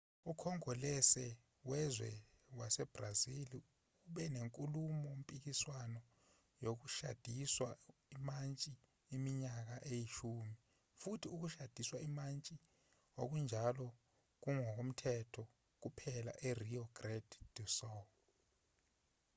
ukhongolose wezwe wasebrazil ube nenkulumo-mpikiswano yokushadiswa imantshi iminyaka eyishumi futhi ukushadiswa imantshi okunjalo kungokomthetho kuphela e-rio grande do sul